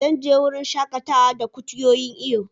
Zan je wurin shakatawa da kutuyoyin iyo.